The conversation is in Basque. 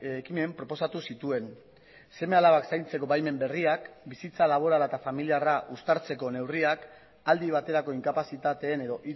ekimen proposatu zituen seme alabak zaintzeko baimen berriak bizitza laborala eta familiarra uztartzeko neurriak aldi baterako inkapazitateen edo